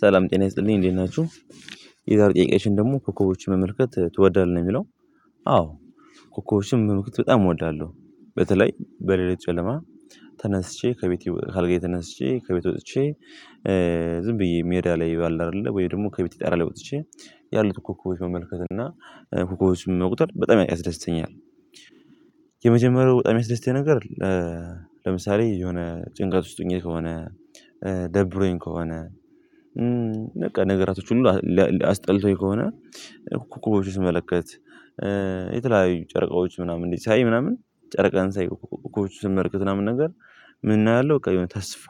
ሰላም ጤና ይስጥልኝ እንዴት ናችሁ የዛሬ ጥያቄያችን ደግሞ ኮኮቦችን መመልከት ትወዳለህ ነው የሚለው? አዎ ኮኮቦችን መመልከት በጣም እወዳለሁ በተለይ በሌላት ጨለማ ተነስቼ ከቤቴ ካአልገዬ ተነስቼ ከቤት ወጥቼ ዝም ብዬ ሜዳ ላይ አለ አይደለ ወይ ደግሞ ከቤት ጣራ ላይ ወጥቼ ያሉት ኮኮቦች መመልከት እና ኮኮቦችን መቁጠር በጣም ያስደስተኛል። የመጀመሪያው በጣም ያምያስደስተኛል ነገር። ለምሳሌ የሆነ ጭንቀት ውስጥ ሆኜ ከሆነ ደብሮኝ ከሆነ። ነገራቶች ሁሉ አስጠልቶኝ ከሆነ ኮከቦችን ስመለከት። የተለያዩ ጨረቃዎች ምናምን እንዴት ሳይ ምናምን ጨርቃን ሳይ ኮከቦችን ስመለከት ምናምን ነገር። ምን እናያለሁ በቃ የሆነ ተስፋ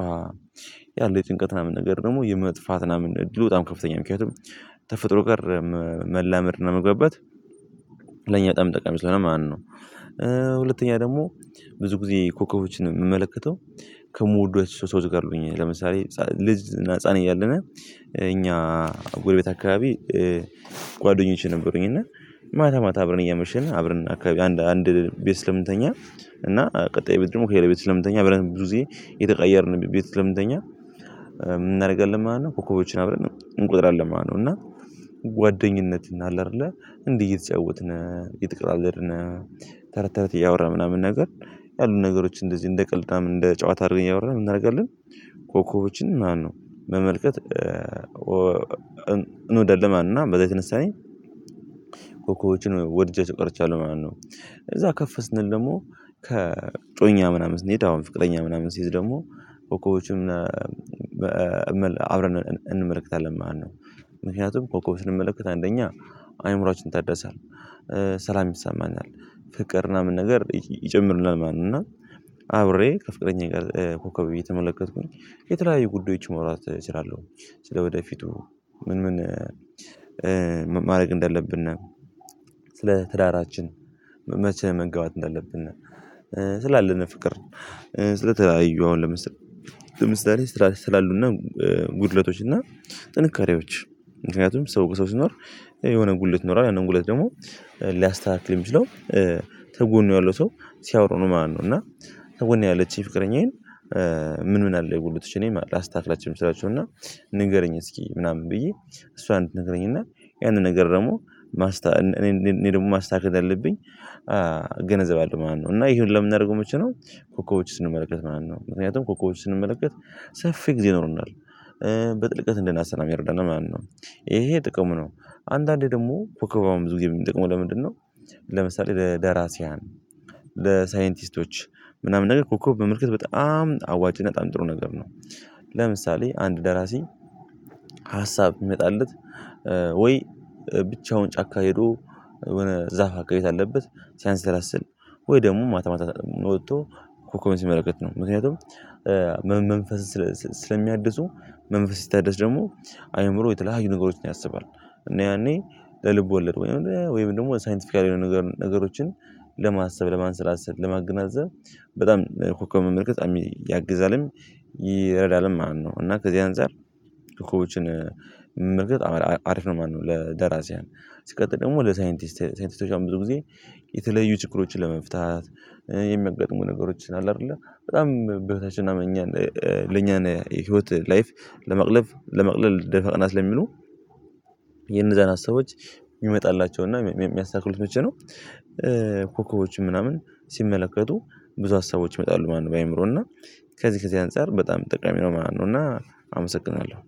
ያለው የጭንቀት ምናምን ነገር ደግሞ የመጥፋትና ምናምን እድሉ በጣም ከፍተኛ ምክንያቱም። ተፈጥሮ ጋር መላመድ እና መግባት ለኛ በጣም ጠቃሚ ስለሆነ ማለነው። ሁለተኛ ደግሞ ብዙ ጊዜ ኮከቦችን የምመለከተው። ከምወዷቸው ሰዎች ጋር ሆኜ ለምሳሌ ልጅ እና ህፃን እያለነ እኛ ጎረቤት አካባቢ። ጓደኞቼ ነበሩኝ እና ማታ ማታ አብረን እያመሸን አብረን አካባቢ አንድ ቤት ስለምንተኛ እና ቀጣይ ብት ደግሞ ከሌላ ቤት ስለምንተኛ ብለን ብዙ ጊዜ እየተቀየርን ቤት ስለምንተኛ። ምን እናደርጋለን ማለት ነው ኮከቦችን አብረን እንቆጥራለን ማለት ነው። እና ጓደኝነት እና አለ አይደለ እንዲህ እየተጫወትነ እየተቀላለድነ ተረት ተረት እያወራን ምናምን ነገር ያሉት ነገሮች እንደዚህ እንደ ቀልድ እንደ ጨዋታ አድርገን ያወራን ምን እናደርጋለን? ኮከቦችን ማለነው መመልከት እንወዳለን ማለነው። እና በዛ የተነሳ እኔ ኮኮቦችን ወድጃቸው ቀርቻለሁ ማን ነው? እዛ ከፍ ስንል ደግሞ ከእጮኛ ምናምን ስንሄድ አሁን ፍቅረኛ ምናምን ስይዝ ደግሞ ኮኮቦዎችን አብረን እንመለከታለን ማለት ነው። ምክንያቱም ኮኮቦችን ስንመለከት አንደኛ አእምሮአችን ይታዳል ሰላም ይሳማናል ፍቅር ምናምን ነገር ይጨምሩናል ማለነው። እና አብሬ ከፍቅረኛዬ ጋር ኮከብ እየተመለከትኩኝ የተለያዩ ጉዳዮች መውራት እችላለሁ። ስለወደፊቱ ምን ምን ማድረግ እንደለብነ ስለ ትዳራችን መቼ መግባት እንዳለብነ። ስላለን ፍቅር ስለተለያዩ አሁን ለምሳሌ ስላሉ እና ጉድለቶች እና ጥንካሬዎች ምክንያቱም ሰው ከሰው ሲኖር። የሆነ ጉድለት ይኖሯል ያንን ጉድለት ደግሞ ሊያስተካክል የሚችለው ተጎኑ ያለው ሰው ሲያወራ ነው ማለነው። እና ተጎን ያለችኝ ፍቅረኛዬን። ምን ምን አለ የጉልበትሽ እኔ ማለት ላስታክላቸው ምችላቸው እና ንገረኝ እስኪ ምናምን ብዬ እሷን እንድነግረኝና ያንን ነገር ደግሞ ማስታ እኔ እኔ ደግሞ ማስታካከል አለብኝ። አለ ማለት እና ሁላ ምናረገው መቼ ነው? ኮኮቦችን ስንመለከት ማለት ነው ምክንያቱም ኮኮቦች ስንመለከት ሰፊ ጊዜ ይኖሩናል በጥልቀት እንደናስብ ነው ሚረዳነ ማለት ነው። ይሄ ጥቅሙ ነው። አንዳንዴ ደግሞ ኮከብ አሁን ብዙ ጊዜ የሚጠቅመው ለምንድነው? ለምሳሌ ለደራሲያን ለሳይንቲስቶች ምናምን ነገር ኮከብ መመልከት በጣም አዋጪ እና በጣም ጥሩ ነገር ነው። ለምሳሌ አንድ ደራሲ ሀሳብ ቢመጣለት ወይ ብቻውን ጫካ ሄዶ የሆነ ዛፍ አካባቢ ታለበት ሲያሰላስል ወይ ደግሞ ማታ ማታ ወጥቶ ኮከብን ሲመለከት ነው ምክንያቱም። መንፈስን ስለሚያድሱ መንፈስ ሲታደስ ደግሞ አእምሮ የተለያዩ ነገሮችን ያሰባል። እና ያኔ ልብ ወለድ ወይም ደግሞ ሳይንቲፊካሊ ነገሮችን ለማሰብ ለማንሰላሰል ለማገናዘብ በጣም ኮከብ መመልከት በጣም ያግዛልም። ይረዳልም ማለት ነው። እና ከዚህ አንፃር ኮኮቦችን አሪፍ ነው ማለነው። ለደራሲያን ሲቀጥል ደግሞ ለሳይንቲስት ሳይንቲስቶች ብዙ ጊዜ የተለዩ ችግሮችን ለመፍታት የሚያጋጥሙ ነገሮችን አለ አይደለ በጣም በህይወታችን እኛን ለኛን የህይወት ላይፍ ለማቅለብ ለመቅለል ደፋ ቀና ስለሚሉ። የነዛን ሀሳቦች ይመጣላቸውና የሚያስተካክሉት መቼ ነው? ኮከቦችም ምናምን ሲመለከቱ ብዙ ሀሳቦች ይመጣሉ ማለነው። በአእምሮ እና ከዚህ ከዚህ አንፃር በጣም ጠቃሚ ነው ማለነው። እና አመሰግናለሁ።